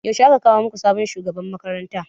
Yaushe aka kawo muku sabon shugaban makaranta?